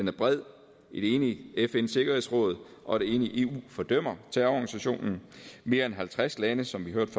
er bred et enigt fns sikkerhedsråd og et enigt eu fordømmer terrororganisationen mere end halvtreds lande som vi hørte